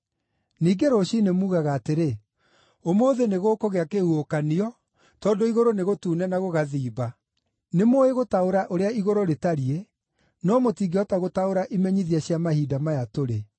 Ningĩ rũciinĩ muugaga atĩrĩ, ‘Ũmũthĩ nĩgũkũgĩa kĩhuhũkanio, tondũ igũrũ nĩ gũtune na gũgathimba.’ Nĩmũũĩ gũtaũra ũrĩa igũrũ rĩtariĩ, no mũtingĩhota gũtaũra imenyithia cia mahinda maya tũrĩ.